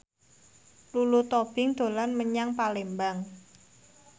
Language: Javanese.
Lulu Tobing dolan menyang Palembang